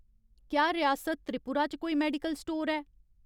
क्या रियासत त्रिपुरा च कोई मेडिकल स्टोर ऐ ?